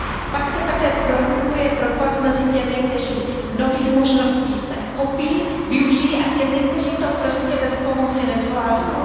Pak se také prohlubuje propast mezi těmi, kteří nových možností se chopí, využijí je, a těmi, kteří to prostě bez pomoci nezvládnou.